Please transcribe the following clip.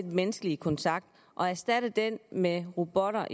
menneskelige kontakt og erstatte den med robotter